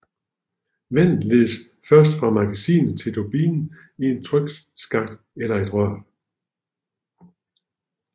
Vandet ledes fra magasinet til turbinen i en trykskakt eller et rør